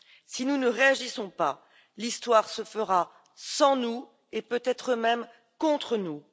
Si nous ne réagissons pas, l'histoire se fera sans nous et peut être même contre nous.